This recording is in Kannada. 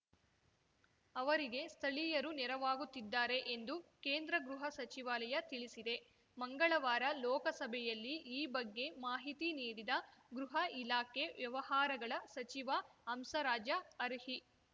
ಅವರಿಗೆ ಸ್ಥಳೀಯರು ನೆರವಾಗುತ್ತಿದ್ದಾರೆ ಎಂದು ಕೇಂದ್ರ ಗೃಹ ಸಚಿವಾಲಯ ತಿಳಿಸಿದೆ ಮಂಗಳವಾರ ಲೋಕಸಭೆಯಲ್ಲಿ ಈ ಬಗ್ಗೆ ಮಾಹಿತಿ ನೀಡಿದ ಗೃಹ ಇಲಾಖೆ ವ್ಯವಹಾರಗಳ ಸಚಿವ ಹಂಸರಾಜ ಅರ್ಹಿ